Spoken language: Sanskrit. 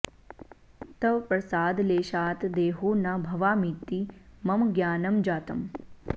तव प्रसादलेशात् देहो न भवामीति मम ज्ञानं जातम्